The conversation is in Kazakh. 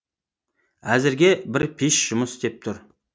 әзірге бір пеш жұмыс істеп тұр